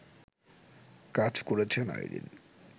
কাজ করেছেন আইরিন